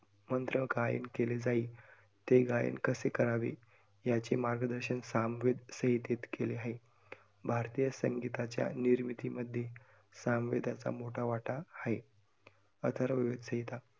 मंत्र गायन केले जाईल, ते गायन कसे करावे याचे मार्गदर्शन सामवेद संहितेत केले आहे. भारतीय संगीताच्या निर्मितीमध्ये सामवेदाचा मोठा वाटा आहे. अथर्ववेद संहिता